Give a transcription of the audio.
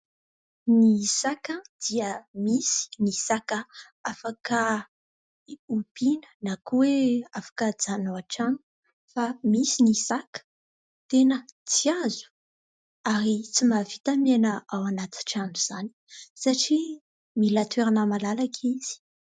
Ny saka dia misy ny saka afaka hompiana na koa hoe afaka hajanona ao an-trano fa misy ny saka tena tsy azo ary tsy mahavita miaina ao anaty trano izany satria mila toerana malalaka izy.